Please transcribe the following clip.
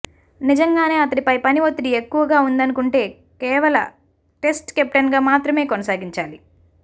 నిజంగానే అతడిపై పని ఒత్తిడి ఎక్కువగా వుందనుకుంటే కేవల టెస్ట్ కెప్టెన్ గా మాత్రమే కొనసాగించాలి